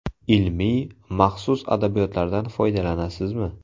Ilmiy, maxsus adabiyotlardan foydalanasizmi?